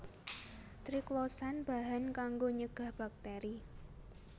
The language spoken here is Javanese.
Triclosan bahan kanggo nyegah bakteri